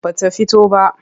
Ba ta fito ba.